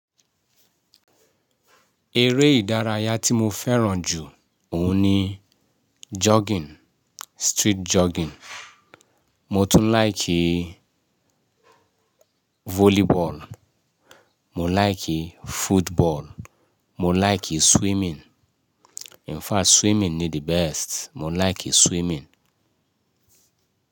Eré ìdárayá tí mo fẹ́ràn jù òun ni jogging, street jogging. Mo tún ń láì kí volleyball, mo láì kí football, mo láì kí swimming. In fact swimming ni the best. Mo láì kí swimming.